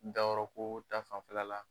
dayɔrɔko ta fan fɛla la